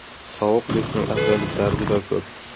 Sovuq dushning afzalliklari juda ko‘p.